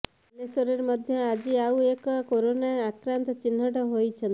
ବାଲେଶ୍ୱରରେ ମଧ୍ୟ ଆଜି ଆଉ ଏକ କରୋନା ଆକ୍ରାନ୍ତ ଚିହ୍ନଟ ହୋଇଛନ୍ତି